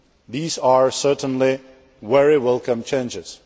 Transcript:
These are certainly very welcome changes.